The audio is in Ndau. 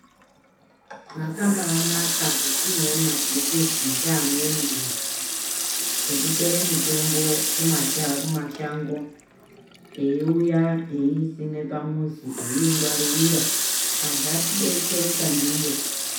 Zvakabaanaka zvatinoona zvirikuizwa ngevamweni vantu zvekutore mitombo kumashango eiuya eiisima pamuzi yeingwaririkaa antu eidetsereka ndiyo.